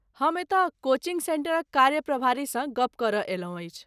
हम एतय कोचिन्ग सेन्टरक कार्य प्रभारीसँ गप्प करय अयलहुँ अछि।